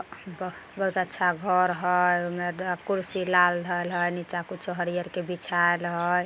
बहुत अच्छा घर हई उमें ग कुर्सी लाल धैल हई नीचे कुछो हरियर के बिछायल हई।